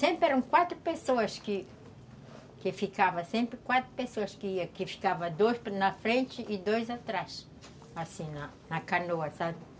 Sempre eram quatro pessoas que ficavam, sempre quatro pessoas que ficavam, dois na frente e dois atrás, assim, na canoa, sabe?